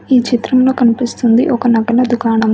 ఈ చిత్రంలో కనిపిస్తుంది ఒక నగల దుకాణము.